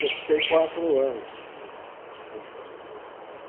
Eu fiquei quatro anos Uhum Como presidente.